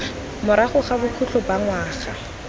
morago ga bokhutlo ba ngwaga